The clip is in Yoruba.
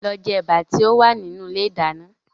Lọ jẹ ẹ̀bà tí ó wà nínú ilé ìdáná